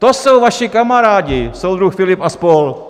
To jsou vaši kamarádi, soudruh Filip a spol.!